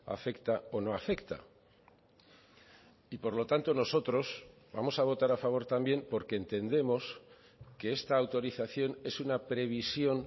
afecta o no afecta y por lo tanto nosotros vamos a votar a favor también porque entendemos que esta autorización es una previsión